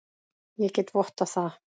Ég get vottað það.